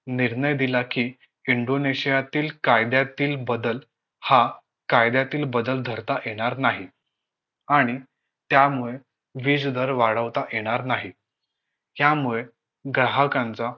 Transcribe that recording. निर्णय दिला कि इंडोनेशियातील कायद्यातील बदल हा कायद्यातील बदल धरता येणार नाही आणि त्यामुळे वीज दर वाढवता येणार नाही यामुळे ग्राहकांचा